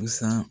Busan